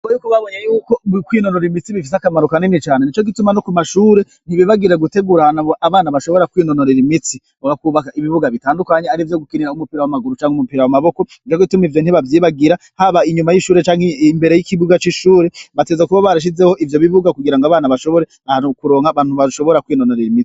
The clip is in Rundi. Bo yuko babonye yuko mbokwinonora imitsi bifise akamaro kanini cane ni co gituma no ku mashure ntibibagire gutegurana bo abana bashobora kwinonorera imitsi mu gakubaka ibibuga bitandukanye ari vyo gukinira umupira w'amaguru canke umupira wamaboko nvagituma ivyo ntibavyibagira haba inyuma y'ishure canke imbere y'ikibuga c'ishure bateza kuba barashizeho ivyo bibuga kugira ngo abana bashobore ahanu kuronka bantu bashobora kwa.